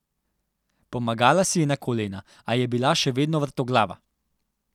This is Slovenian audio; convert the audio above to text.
Pomagala si je na kolena, a je bila še vedno vrtoglava.